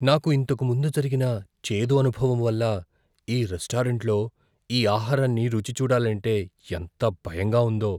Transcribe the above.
నాకు ఇంతకు ముందు జరిగిన చేదు అనుభవం వల్ల ఈ రెస్టారెంట్లో ఈ ఆహారాన్ని రుచి చూడాలంటే ఎంత భయంగా ఉందో.